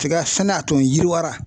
Tiga fɛnɛ a tun yiriwara